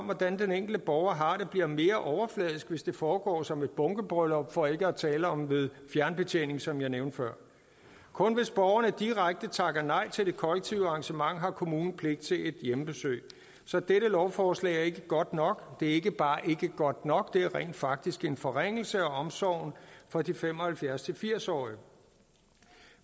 hvordan den enkelte borger har det bliver mere overfladisk hvis det foregår som et bunkebryllup for ikke at tale om ved fjernbetjening som jeg nævnte før kun hvis borgeren direkte takker nej til det kollektive arrangement har kommunen pligt til et hjemmebesøg så dette lovforslag er ikke godt nok det er ikke bare ikke godt nok det er rent faktisk en forringelse af omsorgen for de fem og halvfjerds til firs årige